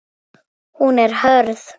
Honum stendur ekki á sama.